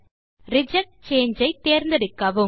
reject சாங்கே ஐ தேர்ந்தெடுக்கவும்